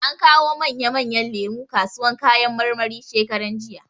An kawo manya manyan lemu kasuwan kayan marmari shekaran jija.